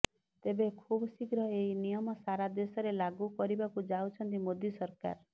ତେବେ ଖୁବ ଶିଘ୍ର ଏହି ନିୟମ ସାରା ଦେଶରେ ଲାଗୁ କରିବାକୁ ଯାଉଛନ୍ତି ମୋଦି ସରକାର